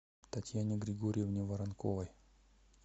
татьяне григорьевне воронковой